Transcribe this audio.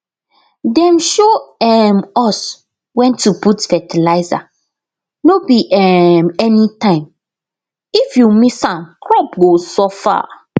dem show um us when to put fertilizer no be um anytimeif you miss am crop go suffer